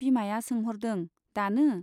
बिमाया सोंह'रदों , दानो ?